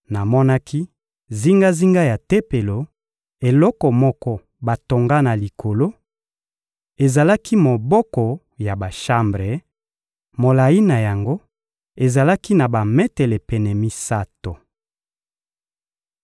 Namonaki zingazinga ya Tempelo eloko moko batonga na likolo: ezalaki moboko ya bashambre; molayi na yango ezalaki na bametele pene misato.